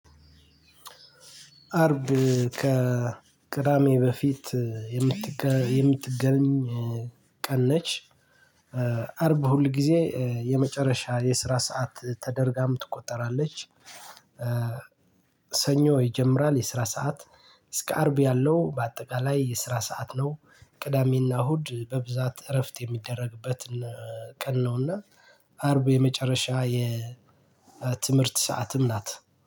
አርብ ከቅዳሜ በፊት የምትገኝ ቀን ነች። አርብ ሁል ጊዜ የመጨረሻ የስራ ሰዓት ተደርጋም ትቆጠራለች። ሰኞ ይጀምራል የስራ ሰዓት እስከ አርብ ያለው በአጠቃላይ የስራ ሰዓት ነው። ቅዳሜና እሁድ በብዛት እረፍት የሚደረግበት ቀን ነውና። አርቡ የመጨረሻ የትምህርት ሰዓትም ናት